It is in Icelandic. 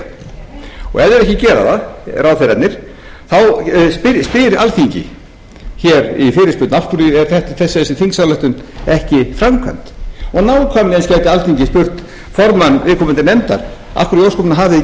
þeir ekki gera það ráðherrarnir þá spyr alþingi í fyrirspurn af hverju er þessi þingsályktun ekki framkvæmd og nákvæmlega gæti alþingi spurt formann viðkomandi nefndar af hverju í ósköpunum hafið þið ekki